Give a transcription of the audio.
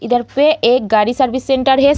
इधर पे एक गाड़ी सर्विस सेंटर है।